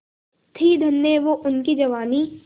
थी धन्य वो उनकी जवानी